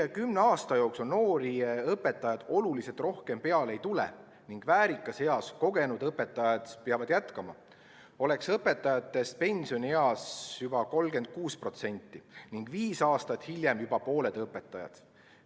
Kui kümne aasta jooksul noori õpetajaid oluliselt rohkem peale ei tule ning väärikas eas kogenud õpetajad peavad jätkama, oleks õpetajatest pensionieas juba 36% ning viis aastat hiljem juba pooled õpetajad.